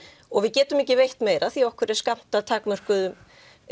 og við getum ekki veitt meira því okkur er skammtað takmörkuðum